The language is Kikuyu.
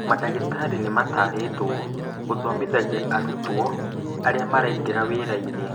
Madagĩtarĩ nĩmatarĩtwo gũthomithia arutwo arĩa maraingira wĩra-inĩ